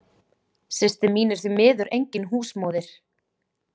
Systir mín er því miður engin húsmóðir.